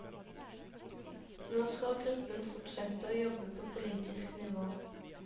Nå skal gruppen fortsette å jobbe på politisk nivå.